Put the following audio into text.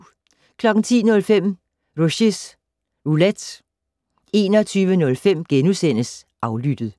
10:05: Rushys Roulette 21:05: Aflyttet *